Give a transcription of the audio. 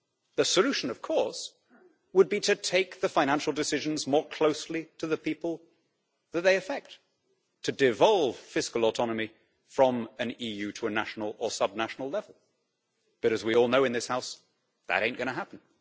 The solution, of course, would be to take the financial decisions more closely to the people that they affect, to devolve fiscal autonomy from an EU to a national or subnational level but, as we all know in this House, that ain't gonna happen'.